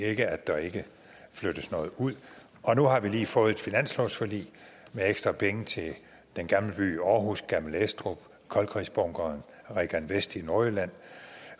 ikke at der ikke flyttes noget ud nu har vi lige fået et finanslovsforlig med ekstra penge til den gamle by i aarhus gammel estrup koldkrigsbunkeren regan vest i nordjylland